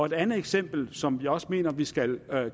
et andet eksempel som vi også mener der skal